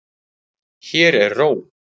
Hér er ró.